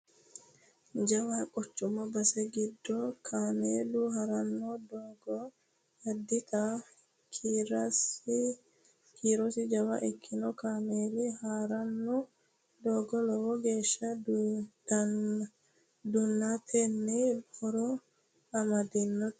jawa quchumu base giddo kameelu haranno doogora addinta kiirosi jawa ikkino kameeli harana doogono lowo geeshsha duunantenna horo amadante no